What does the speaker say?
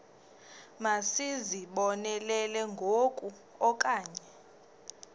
masizibonelele ngoku okanye